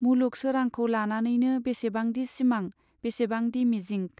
मुलुग सोरांखौ लानानैनो बेसेबांदि सिमां, बेसेबांदि मिजिंक!